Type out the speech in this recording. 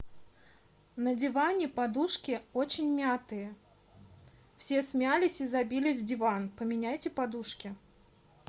на диване подушки очень мятые все смялись и забились в диван поменяйте подушки